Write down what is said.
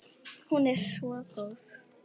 Hún er svo góð.